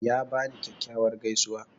Ya bani kyakkyawar gaisuwa.